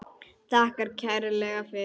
Þakkar kærlega fyrir sig.